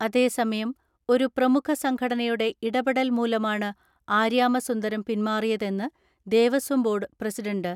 അതേസമയം, ഒരു പ്രമുഖ സംഘടനയുടെ ഇടപെടൽ മൂലമാണ് ആര്യാമസുന്ദരം പിൻമാറിയതെന്ന് ദേവസ്വം ബോർഡ് പ്രസിഡന്റ്